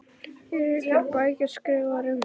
Eru einhverjar bækur skrifaðar um þá?